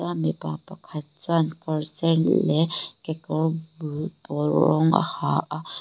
ta mipa pakhat chuan kawr sen leh kekawr bul pawl rawng a ha a.